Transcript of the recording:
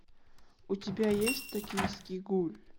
у тебя есть токийский гуль